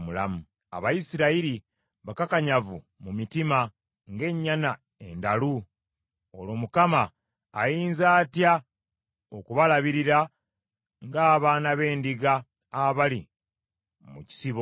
Abayisirayiri bakakanyavu mu mitima ng’ennyana endalu. Olwo Mukama ayinza atya okubalabirira ng’abaana b’endiga abali mu kisibo?